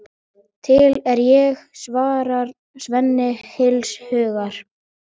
Til er ég, svarar Svenni heils hugar.